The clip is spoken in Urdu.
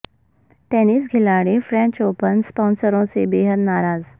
ٹینس کھلاڑی فرنچ اوپن اسپانسروں سے بے حد ناراض